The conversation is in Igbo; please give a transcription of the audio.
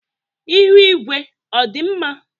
Ihu igwe ọ dị mma?